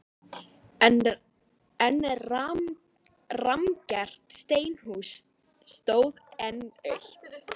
En rammgert steinhús stóð enn autt.